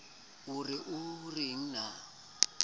o ne o re na